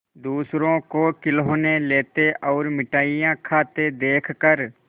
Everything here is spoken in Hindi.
दूसरों को खिलौना लेते और मिठाई खाते देखकर